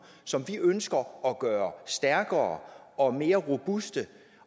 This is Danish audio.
som vi ønsker at gøre stærkere og mere robuste